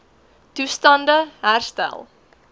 toestand e herstel